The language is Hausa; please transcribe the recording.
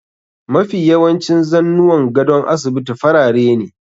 Mafi yawancin zannuwan gadon asibiti farare ne.